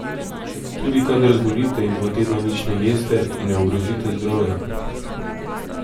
Tudi kadar zbolite in dva tedna nič ne jeste, ne ogrozite zdravja.